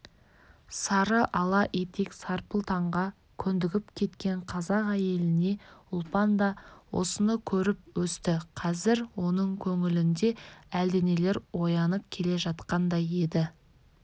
сары-ала етек сарпылтаңға көндігіп кеткен қазақ әйелі ұлпан да осыны көріп өсті қазір оның көңілінде әлденелер оянып келе жатқандай еді